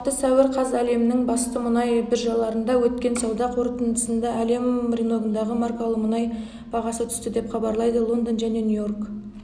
алматы сәуір қаз әлемнің басты мұнай биржаларында өткен сауда қортындысында әлем рыногындағы маркалы мұнай бағасы түсті деп хабарлайды лондон және нью-йорк